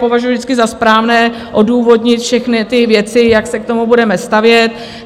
Považuji vždycky za správné odůvodnit všechny ty věci, jak se k tomu budeme stavět.